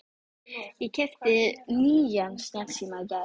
Ég keypti nýjan snjallsíma í gær.